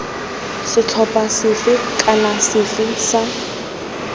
setlhopha sefe kana sefe sa